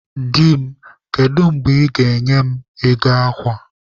Di m, kedu mgbe ị ga-enye m ego akwa?